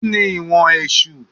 Kíni èèwọ̀ Èsù?